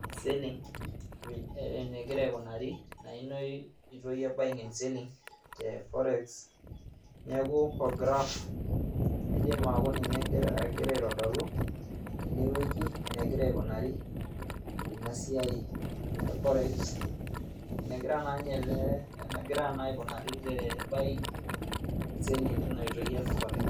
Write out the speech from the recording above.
and selling enegira aikunari naa ina oitoi ee buying and selling te forex naaku olgraaf eidim aaku ninye egira aitodolu teine weji enegir aikunari ina siaai e forex enegiraa na ninye alee aikunari te buying and selling teina oitoi e [cs forex.